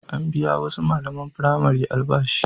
An biya wasu malaman firamare albashi.